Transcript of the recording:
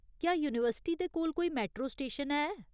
क्या यूनिवर्सिटी दे कोल कोई मेट्रो स्टेशन है ?